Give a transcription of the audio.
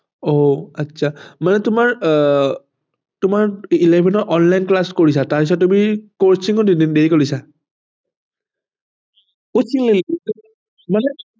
অহ আচ্ছা মানে তোমাৰ আহ তোমাৰ eleven ৰ online class কৰিছা তাৰপিছত তুমি coaching ও join ধৰিছা